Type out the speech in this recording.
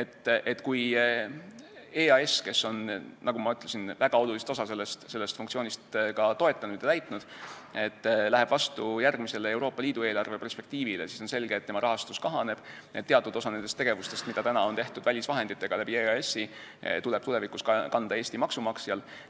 et kui EAS, kes on, nagu ma ütlesin, väga olulist osa sellest funktsioonist toetanud ja täitnud, läheb vastu järgmisele Euroopa Liidu eelarve perspektiivile, siis on selge, et tema rahastus kahaneb ning teatud osa nendest tegevustest, mida on tehtud välisvahenditega EAS-i kaudu, tuleb tulevikus kanda Eesti maksumaksjal.